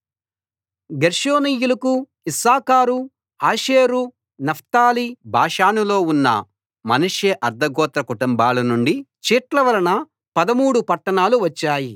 గెర్షోనీయులకు Issachar Asher Naphtali బాషానులో ఉన్న Manasseh అర్థ గోత్ర కుటుంబాల నుండి చీట్ల వలన పదమూడు పట్టణాలు వచ్చాయి